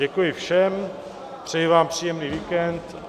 Děkuji všem, přeji vám příjemný víkend.